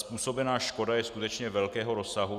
Způsobená škoda je skutečně velkého rozsahu.